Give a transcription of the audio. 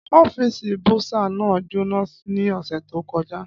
Ọ́fíìsì bursar náà jóná ní ọ̀sẹ̀ tó kọjá.